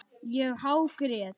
Ég hágrét.